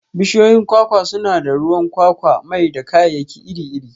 Bishiyoyin kwakwa suna ba da ruwan kwakwa, mai, da kayayyaki iri-iri.